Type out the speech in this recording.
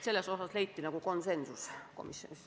Selles osas leiti komisjonis konsensus.